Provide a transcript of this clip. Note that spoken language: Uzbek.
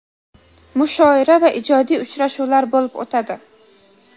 mushoira va ijodiy uchrashuvlar bo‘lib o‘tadi.